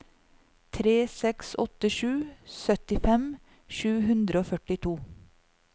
tre seks åtte sju syttifem sju hundre og førtito